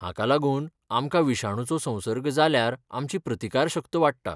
हाका लागून आमकां विशाणूचो संसर्ग जाल्यार आमची प्रतिकारशक्त वाडटा.